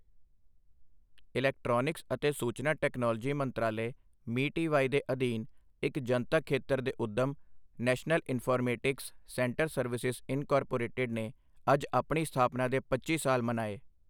Electronics ਅਤੇ ਸੂਚਨਾ technology ਮੰਤਰਾਲੇ ਮੀਟੀਵਾਈ ਦੇ ਅਧੀਨ ਇੱਕ ਜਨਤਕ ਖੇਤਰ ਦੇ ਉੱਦਮ, national informatics centre services incorporated ਨੇ ਅੱਜ ਆਪਣੀ ਸਥਾਪਨਾ ਦੇ ਪੱਚੀ ਸਾਲ ਮਨਾਏ।